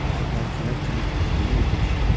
Əvvəlkilər kimi o deyildir şən.